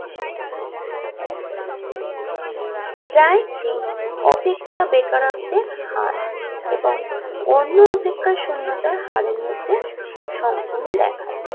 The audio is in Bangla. জয়তি অপেক্ষা বেকারত্বের হার এবং অন্য অপেক্ষার শুন্যতা হারের মধ্যে সম্পূর্ণ দেখায়